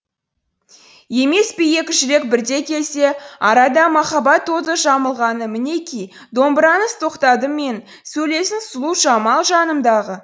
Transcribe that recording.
емес пе екі жүрек бірдей келсе арада махаббат оты жағылмағымінеки домбыраңыз тоқтадым мен сөйлесін сұлу жамал жанымдағы